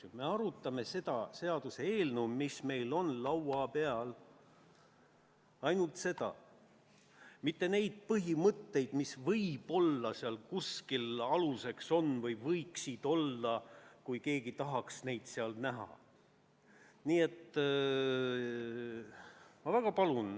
Me arutame seda seaduseelnõu, mis meil on laua peal – ainult seda –, mitte neid põhimõtteid, mis võib-olla kuskil aluseks on või võiksid olla, kui keegi tahaks neid seal näha.